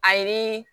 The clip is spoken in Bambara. Ayi